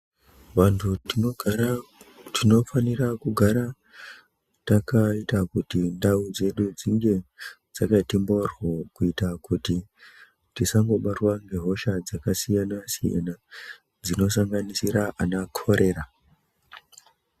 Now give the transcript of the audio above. Vantu tinogara tinofanira kugara takaita kuti ndau dzedu dzinge dzakati mboryo. Kuita kuti tisangobatwa ngehosha dzakasiyana-siyana, dzinosanganisira ana korera.